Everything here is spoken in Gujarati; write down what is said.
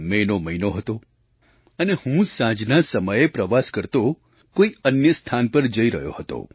મે નો મહિનો હતો અને હું સાંજના સમયે પ્રવાસ કરતો કોઈ અન્ય સ્થાન પર જઈ રહ્યો હતો